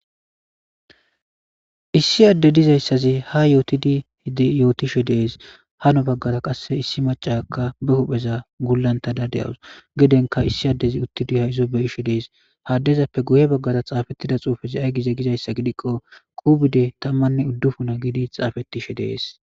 Issi adde diza isazi hayottidi yootishe de'ees, hinni baggara qassi issi maccaakka ba huphpheza gulletada de'asu, giddonka issi addey uttidi hayzo bashi de'ees. Ha adezappe guyye baggara tsaafettida tsufeka ayi gi giko issa gidikko Covide tammmanne uddufuna gidi tsaafettishe de'ees.